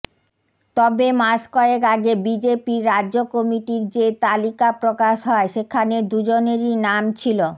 তবে মাসকয়েক আগে বিজেপির রাজ্য কমিটির যে তালিকা প্রকাশ হয় সেখানে দুজনেরই নাম ছিল